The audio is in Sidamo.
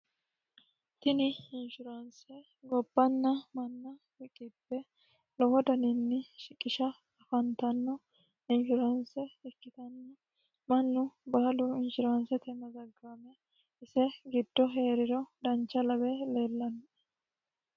tini inshuraanse gobbanna manna riqiphe lowo daniinni shiqisha afantanno inshureanse ikkitanno mannu baalu inshuraansete mazaggaame ise giddo hee'riro dancha labe leellanno